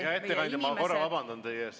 Hea ettekandja, ma korra vabandan teie ees.